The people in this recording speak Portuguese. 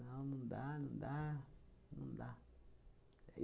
Não, não dá, não dá, não dá.